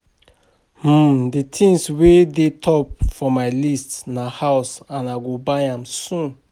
um The thing wey dey top of my list na house and I go buy am soon